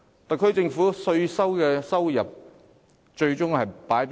特區政府的稅收最終會用於何處？